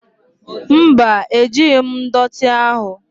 Mba, ejighi m ndọtị ahụ.